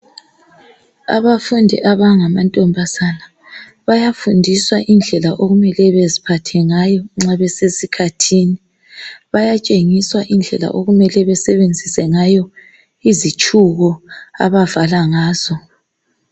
Abafundi abangamantombazane, bayafundiswa indlela okumele beziphathe ngayo nxa besesikhathini. Bayatshengiswa indlela okumele basebenzise ngayo izitshubo abavala ngazo.